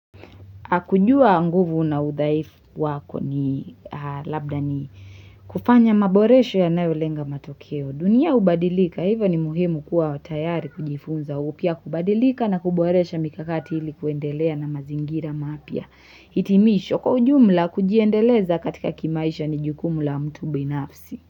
Akujua nguvu na udhaifu wako ni labda ni kufanya maboresho yanayo lenga matokeo. Dunia hubadilika, hivyo ni muhimu kuwa tayari kujifunza upya kubadilika na kuboresha mikakati ili kuendelea na mazingira mapya. Hitimisho kwa ujumla kujiendeleza katika kimaisha ni jukumu la mtu binafsi.